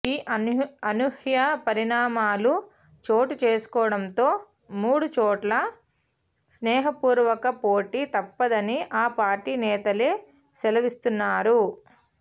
ఈ అనూహ్య పరిణామాలు చోటుచేసుకోవడంతో మూడు చోట్ల స్నేహపూర్వక పోటీ తప్పదని ఆ పార్టీ నేతలే సెలవిస్తున్నారు